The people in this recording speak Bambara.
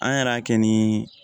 An yɛrɛ y'a kɛ ni